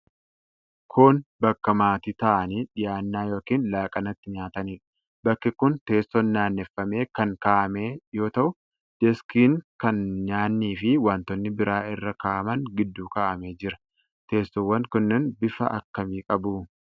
Kun bakka maatii taa'anii dhiyaana yookiin laaqana itti nyaataniidha. Bakki kun teessoon naanneeffamee kan kaa'amee yoo ta'u, deeskiin kan nyaanni fi wantoonni biraa irra kaa'aman gidduu kaa'amee jira. Teessowwan kunneen bifa akkamii qabu?